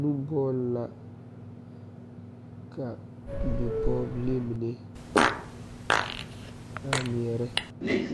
Nobɔ ka ka bi pɔɔbilii mine a ngmɛɛrɛ